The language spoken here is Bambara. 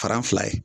Faran fila ye